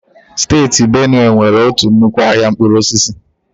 Steeti Benue nwere otu nnukwu ahịa mkpụrụ osisi.